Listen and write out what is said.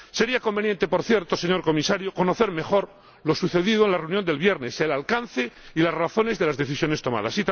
Sería conveniente, por cierto, señor Comisario, conocer mejor lo sucedido en la reunión del viernes el alcance y las razones de las decisiones tomadas.